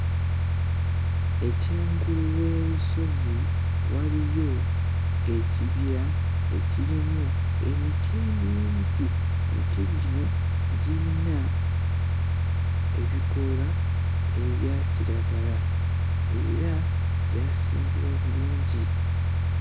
Ekyengulu w'erusozi waliyo ekibira ekirimu emiti emingi emiti gino girina ebikoola ebya kiragala era gyasimbibwa bulungi.